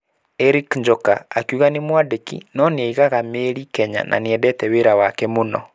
Eric Njoka akiuga nĩ mwandĩki no nĩaigaga mĩrĩ Kenya na nĩendete wĩra wake mũno.